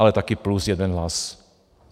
Ale také plus jeden hlas.